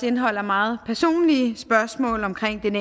indeholder meget personlige spørgsmål omkring den